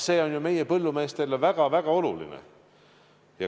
See on ju meie põllumeestele väga-väga oluline.